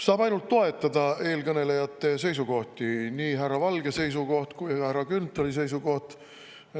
Saab ainult toetada eelkõnelejate seisukohti, nii härra Valge seisukohta kui härra Grünthali seisukohta.